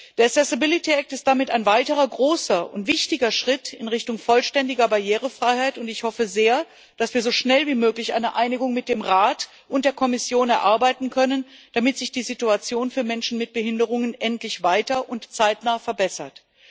Der Accessibility Act ist damit ein weiterer großer und wichtiger Schritt in Richtung vollständiger Barrierefreiheit, und ich hoffe sehr, dass wir so schnell wie möglich eine Einigung mit dem Rat und der Kommission erarbeiten können, damit sich die Situation für Menschen mit Behinderungen endlich weiter und zeitnah verbessert.